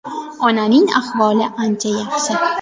Onaning ahvoli ancha yaxshi.